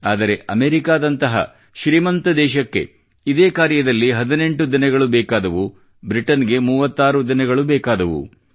ಆದರೆ ಅಮೇರಿಕಾದಂತಹ ಶ್ರೀಮಂತ ದೇಶಕ್ಕೆ ಇದೇ ಕಾರ್ಯದಲ್ಲಿ 18 ದಿನಗಳು ಬೇಕಾದವು ಮತ್ತು ಬ್ರಿಟನ್ ಗೆ 36 ದಿನಗಳು ಬೇಕಾದವು